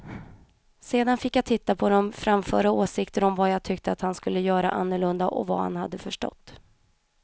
Sedan fick jag titta på dem och framföra åsikter om vad jag tyckte att han skulle göra annorlunda och vad han hade förstått.